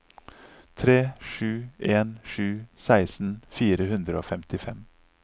tre sju en sju seksten fire hundre og femtifem